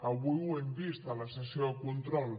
avui ho hem vist a la sessió de control